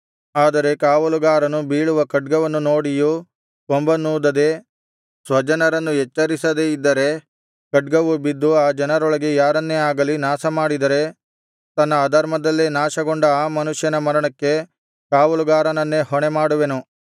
ಆದರೆ ಕಾವಲುಗಾರನು ಬೀಳುವ ಖಡ್ಗವನ್ನು ನೋಡಿಯೂ ಕೊಂಬನ್ನೂದದೆ ಸ್ವಜನರನ್ನು ಎಚ್ಚರಿಸದೆ ಇದ್ದರೆ ಖಡ್ಗವು ಬಿದ್ದು ಆ ಜನರೊಳಗೆ ಯಾರನ್ನೇ ಆಗಲಿ ನಾಶಮಾಡಿದರೆ ತನ್ನ ಅಧರ್ಮದಲ್ಲೇ ನಾಶಗೊಂಡ ಆ ಮನುಷ್ಯನ ಮರಣಕ್ಕೆ ಕಾವಲುಗಾರನನ್ನೇ ಹೊಣೆಮಾಡುವೆನು